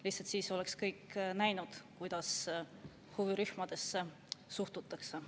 Lihtsalt siis oleks kõik näinud, kuidas huvirühmadesse suhtutakse.